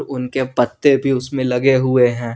उनके पत्ते भी उसमें लगे हुए हैं।